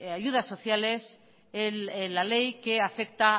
ayudas sociales en la ley que afecta